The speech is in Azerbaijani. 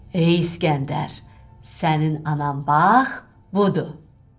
Ey İskəndər, sənin anan bax budur.